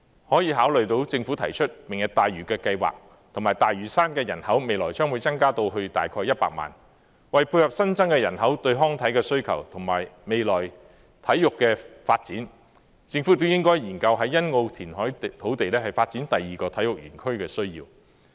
考慮到政府提出"明日大嶼"計劃，以及大嶼山的人口未來將會增至大概100萬人，為配合新增人口對康體的需求，以及未來體育的發展，政府亦應研究在欣澳填海土地發展第二個體育園區的需要。